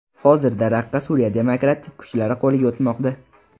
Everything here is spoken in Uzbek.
Hozirda Raqqa ‘Suriya demokratik kuchlari’ qo‘liga o‘tmoqda.